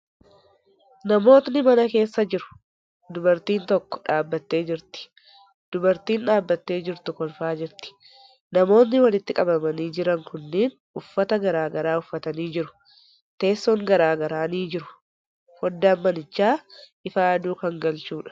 Namootni mana keessa jiru. Dubartiin takka dhaabbattee jirti. Dubartiin dhaabbattee jirtu kolfaa jirti. Namootni walitti qabamanii jiran kunniin uffata garagaraa uffatanii jiru. Teesson garagaraa ni jiru. Foddaan manichaa ifa aduu kan galchuudha.